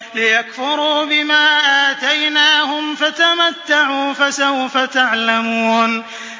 لِيَكْفُرُوا بِمَا آتَيْنَاهُمْ ۚ فَتَمَتَّعُوا فَسَوْفَ تَعْلَمُونَ